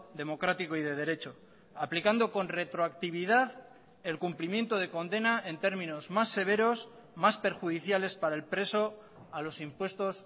democrático y de derecho aplicando con retroactividad el cumplimiento de condena en términos más severos más perjudiciales para el preso a los impuestos